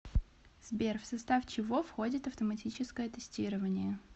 сбер в состав чего входит автоматическое тестирование